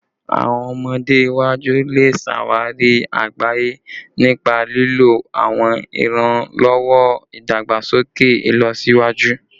Awọn ọmọde iwaju le ṣawari agbaye nipa lilo awọn iranlọwọ idagbasoke ilọsiwaju